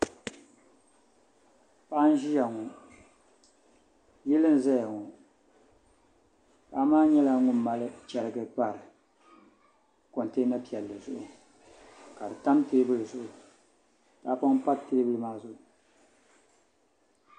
Paɣa n ʒiya ŋo yili n ʒɛya ŋo paɣa maa nyɛla ŋun mali chɛrigi pari kontɛna piɛlli zuɣu ka di tam teebuli zuɣu tahapoŋ pa teebuli maa zuɣu